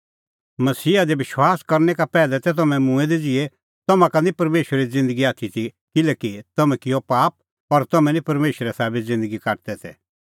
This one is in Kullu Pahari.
मसीहा दी विश्वास करनै का पैहलै तै तम्हैं मूंऐं दै ज़िहै तम्हां का निं परमेशरे ज़िन्दगी आथी ती किल्हैकि तम्हैं किअ पाप और तम्हैं निं परमेशरे साबै ज़िन्दगी काटदै तै